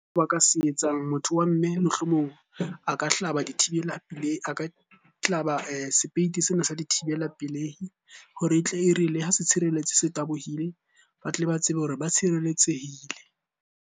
Ba ka se etsang. Motho wa mme mohlomong a ka hlaba dithibela, pelehi, a ka hlaba sepeiti sena sa dithibela pelehi hore e tle e re le ha se tshireletse se tabohile. Ba tle ba tsebe hore ba tshireletsehile.